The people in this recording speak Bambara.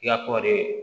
I ka kɔɔri